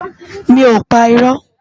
Mi ó pá irò